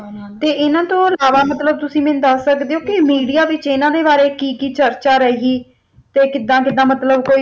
ਤੇ ਇਹਨਾਂ ਤੋਂ ਇਲਾਵਾ ਮਤਲਬ ਤੁਸੀ ਮੈਨੂੰ ਦਸ ਸਕਦੇ ਹੋ ਕਿ Media ਵਿਚ ਇਹਨਾਂ ਬਾਰੇ ਕਿ ਕਿ ਚਰਚਾ ਰਹੀ ਤੇ ਕਿਦਾ ਕਿਦਾ ਮਤਲਬ